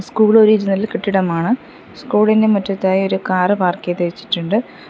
School കെട്ടിടമാണ് സ്കൂളിൻ്റെ മുറ്റത്തായി ഒരു കാർ പാർക്ക് ചെയ്തു വെച്ചിട്ടുണ്ട്.